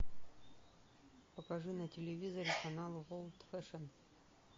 покажи на телевизоре канал ворлд фэшн